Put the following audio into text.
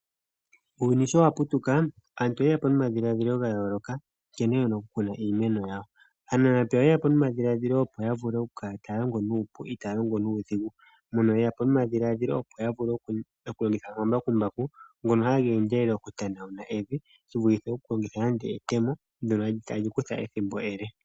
Uuyuni sho wa putuka aantu oyeya po nomadhiladhilo ga yooloka nkene yena okukuna iimeno yawo. Aanamapya oyeya po nomadhiladhilo okukala taya longo nuupu itaya longo nuudhigu. Mono yeya po nomadhiladhilo opo ya vule okulongitha omambakumbaku, ngono haga endelele okutanauna evi shi vulithe okulongitha nande etemo ndono tali kutha ethimbo ele.